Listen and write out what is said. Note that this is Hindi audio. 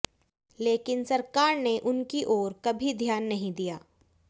लेकिन सरकार ने उनकी ओर कभी ध्यान नहीं दिया